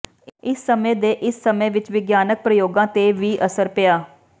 ਇਸ ਸਮੇਂ ਦੇ ਇਸ ਸਮੇਂ ਵਿਚ ਵਿਗਿਆਨਕ ਪ੍ਰਯੋਗਾਂ ਤੇ ਵੀ ਅਸਰ ਪਿਆ